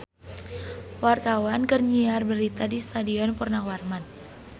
Wartawan keur nyiar berita di Stadion Purnawarman